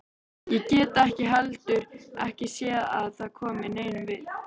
Ég get heldur ekki séð að það komi neinum við.